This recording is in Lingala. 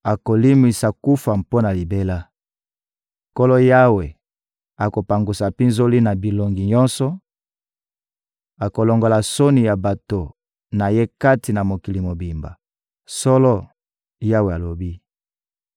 akolimwisa kufa mpo na libela. Nkolo Yawe akopangusa mpinzoli na bilongi nyonso, akolongola soni ya bato na Ye kati na mokili mobimba. Solo, Yawe alobi.